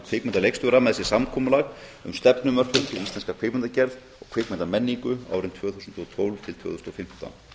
kvikmyndaleikstjóra með sér samkomulag um stefnumörkun fyrir íslenska kvikmyndagerð og kvikmyndamenningu árin tvö þúsund og tólf til tvö þúsund og fimmtán